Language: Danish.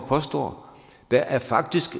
påstår der er faktisk